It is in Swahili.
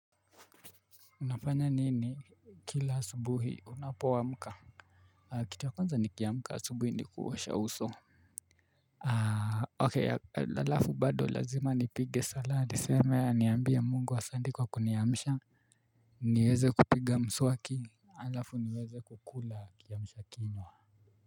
Unafanya nini kila asubuhi unapo amka? Kitu ya kwanza nikiamka asubuhi ni kuosha uso Ok alafu bado lazima nipige sala niseme niambie mungu asandi kwa kuniamsha. Nieze kupiga mswaki alafu nieze kukula kiamsha kinywa.